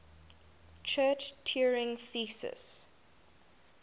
church turing thesis